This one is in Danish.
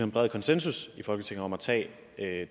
bred konsensus i folketinget om at tage